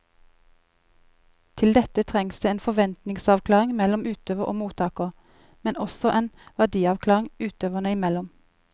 Til dette trengs det en forventningsavklaring mellom utøver og mottaker, men også en verdiavklaring utøverne imellom.